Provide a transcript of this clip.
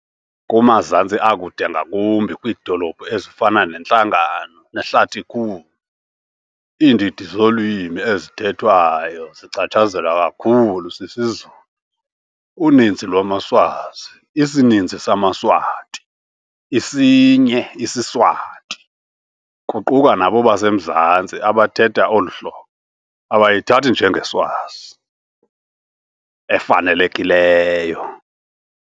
Kumazantsi akude, ngakumbi kwiidolophu ezifana neNhlangano neHlatikhulu, iindidi zolwimi ezithethwayo zichatshazelwa kakhulu sisiZulu. Uninzi lwamaSwazi, isininzi samaSwati, isinye isiSwati, kuquka nabo basemazantsi abathetha olu hlobo, abayithathi njengeSwazi 'efanelekileyo'.